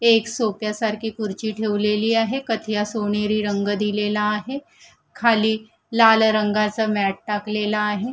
एक सोफ्या सारखी खुर्ची ठेवलेली आहे कथीया सोनेरी रंग दिलेला आहे खाली लाल रंगाचा मॅट टाकलेला आहे.